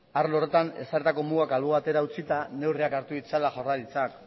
arlo horretan ezarritako mugak albo batera utzita neurriak hartu ditzala jaurlaritzak